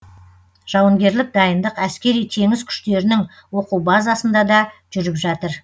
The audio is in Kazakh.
жауынгерлік дайындық әскери теңіз күштерінің оқу базасында да жүріп жатыр